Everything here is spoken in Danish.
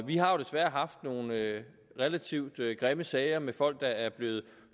har jo desværre haft nogle relativt grimme sager med folk der er blevet